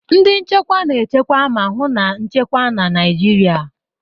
Ndị nchekwa na-echekwa ma hụ na nchekwa na Naịjirịa.